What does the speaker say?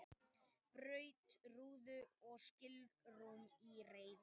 Braut rúðu og skilrúm í reiði